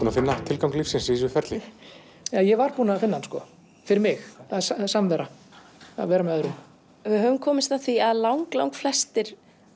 að finna tilgang lífsins í þessu ferli ég var búinn að finna hann fyrir mig það er samvera að vera með öðrum við höfum komist að því að langflestir